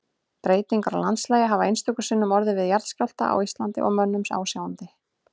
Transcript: Breytingar á landslagi hafa einstöku sinnum orðið við jarðskjálfta á Íslandi að mönnum ásjáandi.